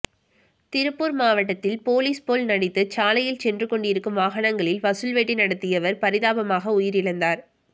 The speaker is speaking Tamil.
திருப்பூர் மாவட்டத்தில் போலீஸ் போல் நடித்து சாலையில் சென்று கொண்டிருக்கும் வாகனங்களில் வசூல் வேட்டை நடத்தியவர் பரிதாபமாக உயிரிழந்தார்